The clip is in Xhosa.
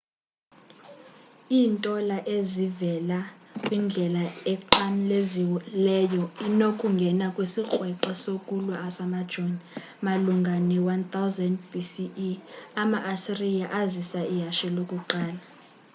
iintola e ezivela kwindlela enqamlezileyo inokungena kwisikrweqe sokulwa samajoni malunga ne-1000 b.c.e. ama-asiriya azisa ihashe lokuqala